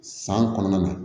San kɔnɔna na